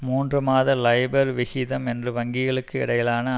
மூன்று மாத லைபர் விகிதம் என்று வங்கிகளுக்கு இடையிலான